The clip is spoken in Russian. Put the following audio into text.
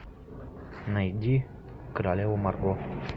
найди королеву марго